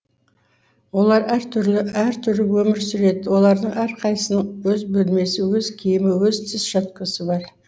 олар әр түрлі әр түрлі өмір сүреді олардың әрқайсысының өз бөлмесі өз киімі өз тіс щеткасы бар